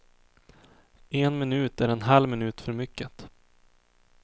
En minut är en halv minut för mycket.